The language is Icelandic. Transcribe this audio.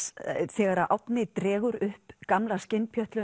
þegar Árni dregur upp gamla